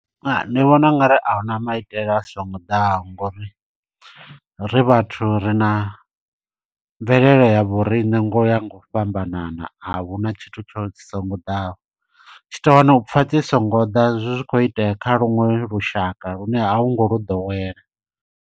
Ndi vhona ungari a huna maitele a songo ḓaho ngo uri, ri vhathu ri na mvelele ya vhoriṋe ngo uya nga u fhambanana. A huna tshithu tsho dzi songo ḓaho. Tshi tou wana upfa dzi songo ḓa zwi khou itea kha luṅwe lushaka lune a hu ngo lu ḓowela.